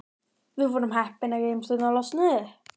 Við vorum heppin að geymslurnar losnuðu.